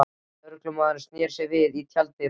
Lögmaðurinn sneri sér við í tjalddyrunum.